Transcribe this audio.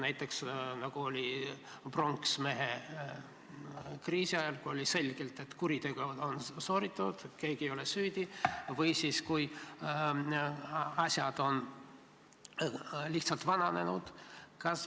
Näiteks oli nii pronksmehekriisi ajal, kui oli selge, et kuritegu on toime pandud, aga keegi ei ole süüdi, või kui asjad on lihtsalt vananenud.